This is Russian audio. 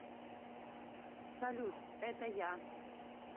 салют это я